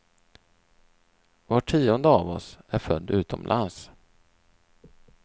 Var tionde av oss är född utomlands.